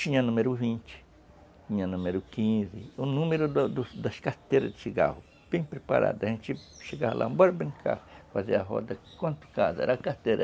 Tinha número vinte, tinha número quinze, o número das carteiras de cigarro, bem preparado, a gente chegava lá, bora brincar, fazer a roda, quanto casa era a carteira?